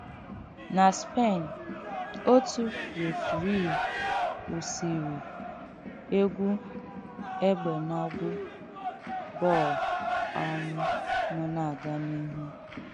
Ná Spèn, òtù referìi kwụsìrị̀ ègwù ègbènàgwò bọl um nọ na-aga n’ihu.